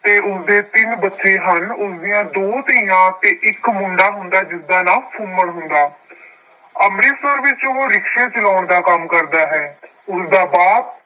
ਅਤੇ ਉਸਦੇ ਤਿੰਨ ਬੱਚੇ ਹਨ। ਉਸ ਦੀਆਂ ਦੋ ਧੀਆਂ ਅਤੇ ਇੱਕ ਮੁੰਡਾ ਹੁੰਦਾ ਜਿਸਦਾ ਨਾਉਂ ਫੁੰਮਣ ਹੁੰਦਾ. ਅੰਮ੍ਰਿਤਸਰ ਵਿੱਚ ਉਹ ਰਿਕਸ਼ੇ ਚਲਾਉਣ ਦਾ ਕੰਮ ਕਰਦਾ ਹੈ। ਉਸਦਾ ਬਾਪ